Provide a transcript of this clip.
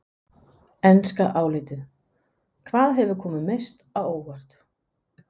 Enska álitið: Hvað hefur komið mest á óvart?